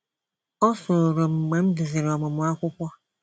Ọ m mgbe m duziri ọmụmụ akwụkwọ.